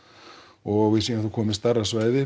og við séum þá komin með stærra svæði